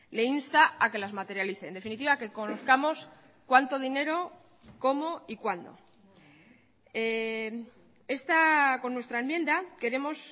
le insta a que las materialice en definitiva que conozcamos cuánto dinero cómo y cuándo con nuestra enmienda queremos